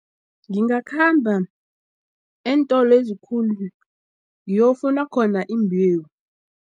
Ngingakhamba eentolo ezikhulu ngiyokufuna khona iimbewu.